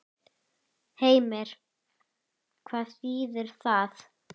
Heimir: Hvað þýðir það?